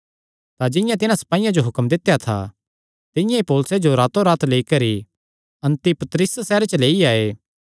तां जिंआं तिन्हां सपाईयां जो हुक्म दित्या था तिंआं ई पौलुसे जो रातोंरात लेई करी अन्तिपत्रिस सैहरे च लेई आये